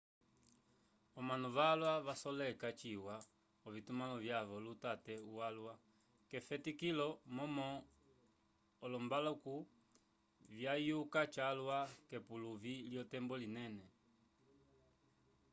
omanu valwa vasoleka ciwa ovitumãlo vyavo lutate walwa k’efetiko momo olombaluku vyayuka calwa k’epuluvi lyotembo linene